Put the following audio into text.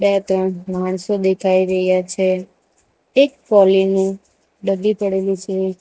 બે ત્રણ માણસો દેખાઈ રહ્યા છે એક કોલિન નું ડબ્બી પડેલું છે.